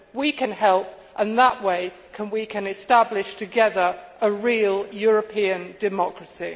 We can help, and that way we can establish together a real European democracy.